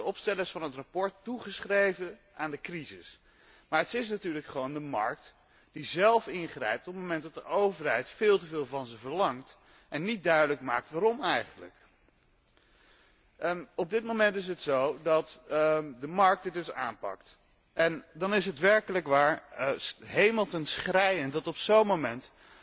Dit wordt door de opstellers van het verslag toegeschreven aan de crisis, maar het is natuurlijk gewoon de markt zelf die ingrijpt op het moment dat de overheid veel te veel van ze verlangt en niet duidelijk maakt waarom eigenlijk. Op dit moment is het dus zo dat de markt zelf ingrijpt. En dan is het werkelijk waar ten hemel schreiend dat op zo'n moment